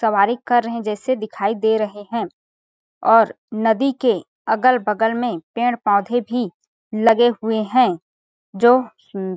सवारी कर रहे जैसे दिखाई दे रहे है और नदी के अगल-बगल में पेड़-पोधे भी लगे हुए है जो सुन्दर --